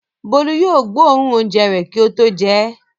Bólú yóò gbóòórùn oúnjẹ rẹ̀ kí ó tó jẹ ẹ́.